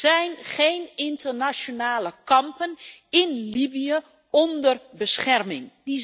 Er zijn geen internationale kampen in Libië onder bescherming.